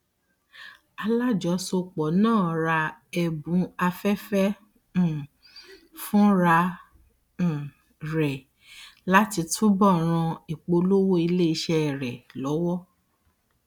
alájọsọpọ náà ra ẹbùn afẹfẹ um fúnra um rẹ láti túbò ràn ìpolówó iléiṣẹ rẹ lọwọ